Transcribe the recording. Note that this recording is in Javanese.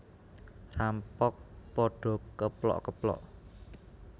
Rampok padha keplok keplok